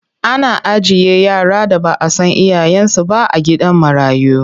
Ana ajiye yara da ba a san iyayensu ba a gidan marayu.